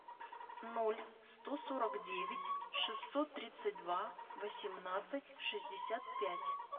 ноль сто сорок девять шестьсот тридцать два восемнадцать шестьдесят пять